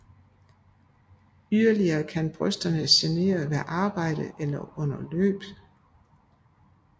Yderlige kan brysterne genere ved arbejde eller under løb